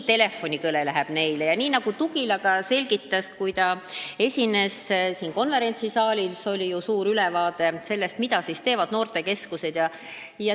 Ka Tugila esindaja, kes esines siin konverentsisaalis – meile anti sellest ju põhjalik ülevaade –, selgitas, mida noortekeskused teevad.